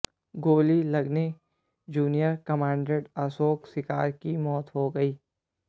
गोली लगने junior commandant Ashok Shikara की मौत हो गई है